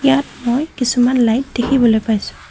ইয়াত মই কিছুমান লাইট দেখিবলৈ পাইছোঁ।